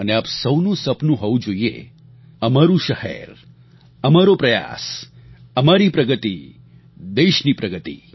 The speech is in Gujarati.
અને આપ સહુનું સપનું હોવું જોઈએ અમારું શહેર અમારો પ્રયાસ અમારી પ્રગતિ દેશની પ્રગતિ